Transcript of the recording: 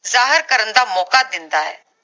ਜਾਹਿਰ ਕਰਨ ਦਾ ਮੌਕਾ ਦਿੰਦਾ ਹੈ